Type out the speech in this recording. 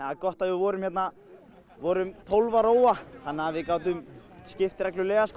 gott að við vorum vorum tólf að róa þannig að við gátum skipt reglulega